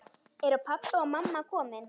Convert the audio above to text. Eru pabbi og mamma komin?